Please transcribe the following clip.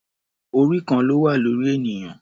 Orí kan ló wà lórí ènìyàn.